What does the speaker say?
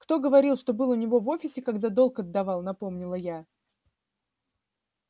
кто говорил что был у него в офисе когда долг отдавал напомнила я